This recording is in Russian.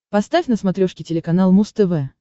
поставь на смотрешке телеканал муз тв